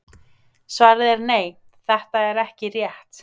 Svarið er nei, þetta er ekki rétt.